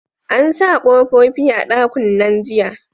An sa kofofi a dakunnan jiya